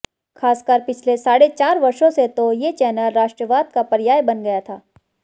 खासकर पिछले साढ़े चार वर्षों से तो ये चैनल राष्ट्रवाद का पर्याय बन गया था